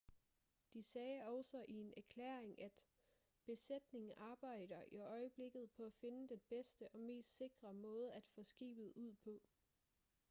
de sagde også i en erklæring at besætningen arbejder i øjeblikket på at finde den bedste og mest sikre måde at få skibet ud på